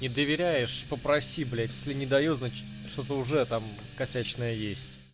не доверяешь попроси блять все не даю значит что-то уже там косячная есть